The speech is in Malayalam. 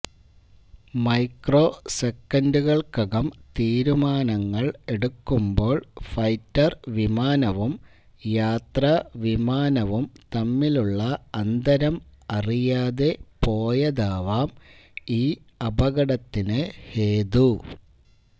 മൈക്രോ സെക്കൻഡുകൾക്കകം തീരുമാനങ്ങൾ എടുക്കുമ്പോൾ ഫൈറ്റർ വിമാനവും യാത്രാവിമാനവും തമ്മിലുള്ള അന്തരം അറിയാതെ പോയതാവാം ഈ അപകടത്തിന് ഹേതു